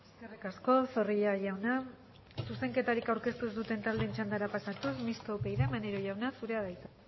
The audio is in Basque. eskerrik asko zorrilla jauna zuzenketarik aurkeztu ez duten taldeen txandara pasatuz mistoa upyd maneiro jauna zurea da hitza